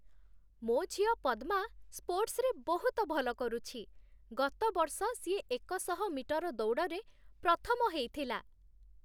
ମୋ ଝିଅ ପଦ୍ମା ସ୍ପୋର୍ଟସ୍‌ରେ ବହୁତ ଭଲ କରୁଛି । ଗତ ବର୍ଷ ସିଏ ଏକଶହ ମିଟର ଦୌଡ଼ରେ ପ୍ରଥମ ହେଇଥିଲା ।